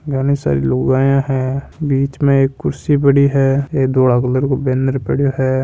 घनी सारी लुगाया है बिच में एक कुर्सी पड़ी है एक धोला कलर को बेनर पाडियो है।